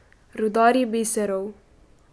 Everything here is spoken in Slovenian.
Rudarji biserov.